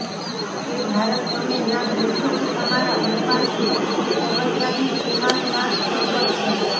એ ભારત તમે ના ભૂલશો કે તમારા ઉપાસ્થ સર્વત્યાગી ઉમાનાથ શંકર છે